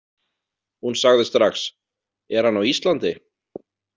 Hún sagði strax: Er hann á Íslandi?